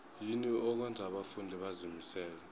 yini okwenza abafundi bazimisele